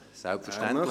– Er möchte.